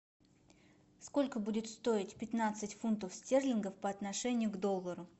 сколько будет стоить пятнадцать фунтов стерлингов по отношению к доллару